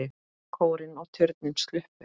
Kórinn og turninn sluppu.